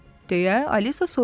deyə Alisa soruşdu.